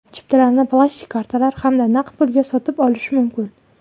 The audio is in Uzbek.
Chiptalarni plastik kartalar hamda naqd pulga sotib olish mumkin.